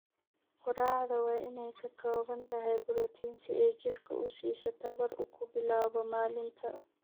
Quraacda waa inay ka kooban tahay borotiin si ay jidhka u siiso tamar uu ku bilaabo maalinta.